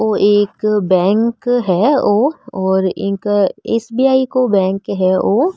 ओ एक बैंक है ओ एक एस बी आई को बैंक है ओ।